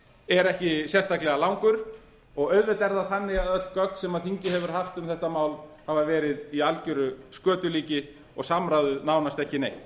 er ekki sérstaklega langur og auðvitað er það þannig að öll gögn sem þingið hefur haft um þetta mál hafa verið í algjöru skötulíki og samráðið nánast ekki neitt